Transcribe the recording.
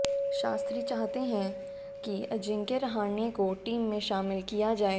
शास्त्री चाहते हैं कि अजिंक्य रहाणे को टीम में शामिल किया जाए